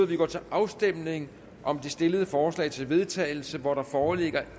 vi går til afstemning om det stillede forslag til vedtagelse og der foreligger